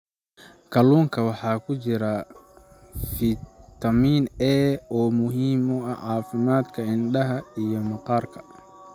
Kalluunka waxaa ku jira fitamiin A oo muhiim u ah caafimaadka indhaha iyo maqaarka.